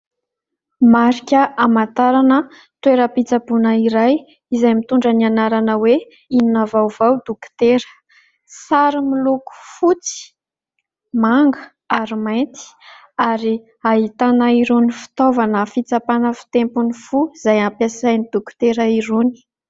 Marika hamantarana toeram-pitsaboina iray izay mitondra ny anarana hoe : "Inona vaovao dokotera". Sary miloko fotsy, manga ary mainty ary ahitana irony fitaovana fitsapana fitempon'ny fo izay ampiasain'ny dokotera irony.